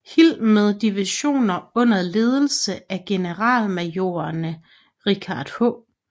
Hill med divisioner under ledelse af generalmajorerne Richard H